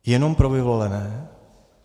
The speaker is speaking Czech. Jenom pro vyvolené?